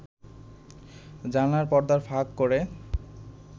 জানলার পর্দা ফাঁক করে